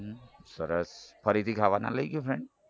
સરસ ફરીથી ખાવા ના લઇ ગયો friend